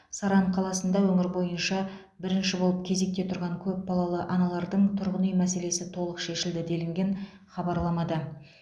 саран қаласында өңір бойынша бірінші болып кезекте тұрған көп балалы аналардың тұрғын үй мәселесі толық шешілді делінген хабарламада